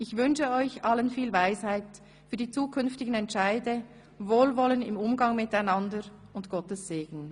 Ich wünsche euch allen viel Weisheit für die zukünftigen Entscheide, Wohlwollen im Umgang miteinander und Gottes Segen.